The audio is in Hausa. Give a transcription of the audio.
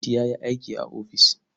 Liti ya yi aiki a ofis.